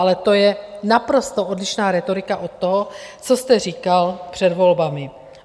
Ale to je naprosto odlišná rétorika od toho, co jste říkal před volbami.